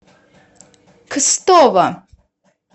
кстово